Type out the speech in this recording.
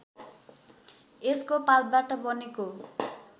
यसको पातबाट बनेको